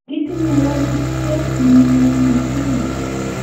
kitinye walutiet ne nyumnyu m eng tugul